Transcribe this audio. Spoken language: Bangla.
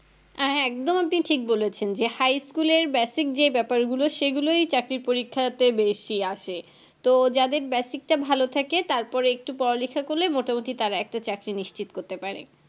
অ্যাঁ হ্যাঁ একদম আপনি ঠিক বলেছেন যে High school এর Basic যে ব্যাপারগুলো সেগুলোই চাকরির পরীক্ষাতে বেশি আসে তো যাদের Basic তা ভালো থাকে তারপরে একটু পড়ালেখা করলেই মোটামুটি তারা একটা চাকরি নিশ্চিত করতে পারে